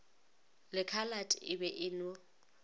lekhalate e be e no